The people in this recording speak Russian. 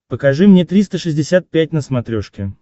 покажи мне триста шестьдесят пять на смотрешке